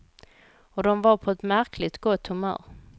Och de var på ett märkligt gott humör.